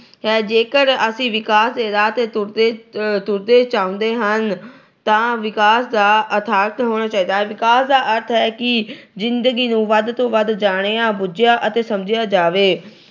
ਜੇਕਰ ਅਸੀਂ ਵਿਕਾਸ ਦੇ ਰਾਹ ਤੇ ਤੁਰਦੇ-ਤੁਰਦੇ ਜਾਂਦੇ ਹਾਂ ਤਾਂ ਵਿਕਾਸ ਦਾ ਅਰਥ ਹੋਣਾ ਚਾਹੀਦਾ ਹੈ। ਵਿਕਾਸ ਦਾ ਅਰਥ ਹੈ ਕਿ ਜਿੰਦਗੀ ਨੂੰ ਵੱਧ ਤੋਂ ਵੱਧ ਜਾਣਿਆ, ਬੁੱਝਿਆ ਅਤੇ ਸਮਝਿਆ ਜਾਵੇ।